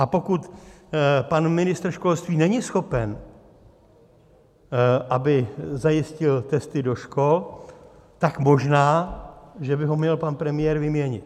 A pokud pan ministr školství není schopen, aby zajistil testy do škol, tak možná že by ho měl pan premiér vyměnit.